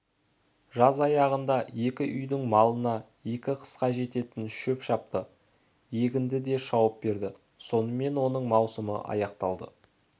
жаз аяғында екі үйдің малына екі қысқа жететін шөп шапты егінді де шауып берді сонымен оның маусымы аяқталды